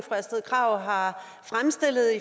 astrid krag har fremstillet